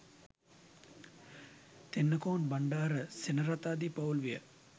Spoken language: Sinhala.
තෙන්නකෝන් බණ්ඩාර සෙනරත් ආදී පවුල් විය.